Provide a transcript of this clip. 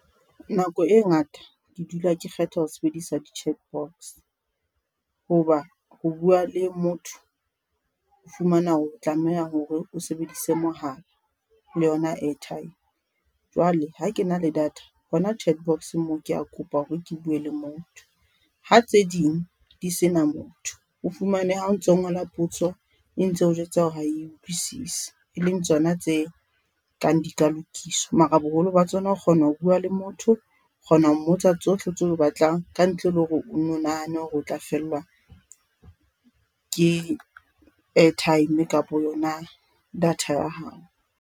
Nako e ngata ke dula ke kgetha ho sebedisa di-chat box hoba ho bua le motho, o fumana hore tlameha hore o sebedise mohala le yona airtime jwale ha ke na le data hona chat box moo ke a kopa hore ke bue le motho. Ha tse ding di sena motho, o fumane ha o ntso ngola potso e ntse o jwetsa hore ha e utlwisisi, e leng tsona tse kang di ka lokiswa. Mara boholo ba tsona ho kgona ho bua le motho kgona ho mmotsa tsohle tseo o batlang ka ntle le hore o no nahane hore o tla fellwa, ke airtime kapa yona data ya hao.